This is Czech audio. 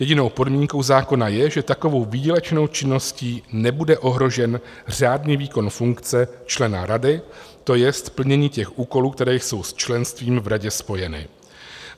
Jedinou podmínkou zákona je, že takovou výdělečnou činností nebude ohrožen řádný výkon funkce člena rady, to jest plnění těch úkolů, které jsou s členstvím v radě spojeny.